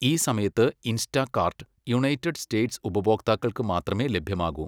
ഈ സമയത്ത് Instacart United States ഉപഭോക്താക്കൾക്ക് മാത്രമേ ലഭ്യമാകൂ.